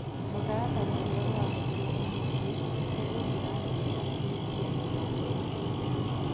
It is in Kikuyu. Mũtaratara ũrĩa ũhũthĩrĩtwo ũmũthĩ nĩ ũgiragia kũhingia mĩbango ĩmwe.